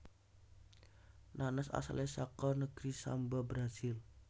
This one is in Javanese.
Nanas asalé saka negeri Samba Brasil